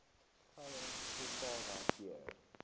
goue sultana keur